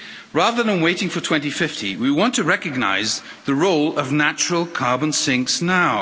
Rather than waiting for 2050 we want to recognise the role of natural carbon sinks now.